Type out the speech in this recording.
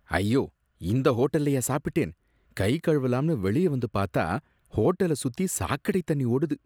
ஐயோ! இந்த ஹோட்டல்லையா சாப்பிட்டேன்! கை கழுவலாம்னு வெளிய வந்து பாத்தா ஹோட்டல சுத்தி சாக்கடை தண்ணி ஓடுது.